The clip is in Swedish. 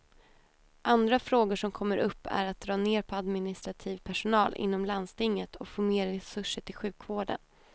Andra frågor som kommer upp är att dra ner på administrativ personal inom landstinget och få mer resurser till sjukvården.